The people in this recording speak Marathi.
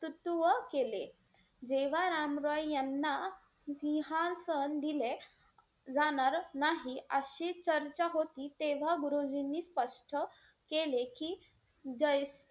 तत्व केले. जेव्हा राम रॉय यांना सिंहासन दिले जाणार नाही अशी चर्चा होती तेव्हा गुरुजींनी स्पष्ट केले की जय,